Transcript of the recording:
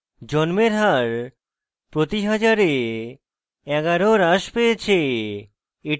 জন্মের হার প্রতি হাজারে 11 হ্রাস পেয়েছে